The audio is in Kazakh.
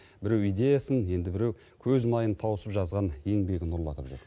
біреу идеясын енді біреу көз майын тауысып жазған еңбегін ұрлатып жүр